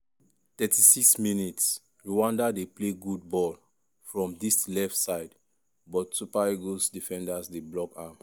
36mins- rwanda dey play good ball from dis left side but super eagles defenders dey block am.